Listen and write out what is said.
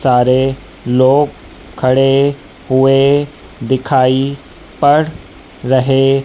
सारे लोग खड़े हुए दिखाई पड़ रहे--